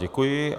Děkuji.